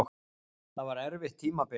Það var erfitt tímabil.